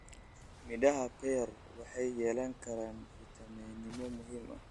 Midhaha pear waxay yeelan karaan fitamiinno muhiim ah.